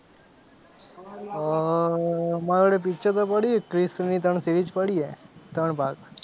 અ અ અ મારી જોડે picture તો પડી છે ક્રીશની ત્રણ series પડી છે ત્રણ ભાગ.